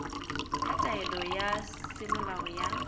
ya taelo ya semolao ya